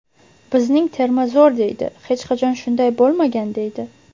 Bizning terma zo‘r deydi, hech qachon shunday bo‘lmagan deydi.